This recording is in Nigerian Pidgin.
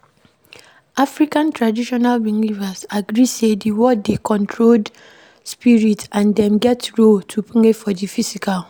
African Traditional Belivers agree sey di world dey controlled spirit and dem get role to play for di physical